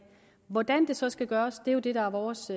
hvordan det så skal gøres er det vores